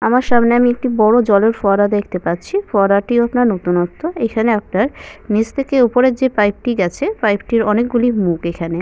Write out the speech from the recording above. আমার সামনে আমি একটি বড় জলের ফোয়ারা দেখতে পাচ্ছি। ফোয়ারা টিও আপনার নতুনত্ব। এখানে আপনার নিচ থেকে উপরের যে পাইপ -টি গেছে পাইপ -টির অনেকগুলি মুখ এখানে।